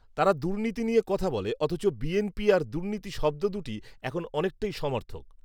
তারা দুর্নীতি নিয়ে কথা বলে৷অথচ বিএনপি আর দুর্নীতি শব্দ দুটি এখন অনেকটাই সমার্থক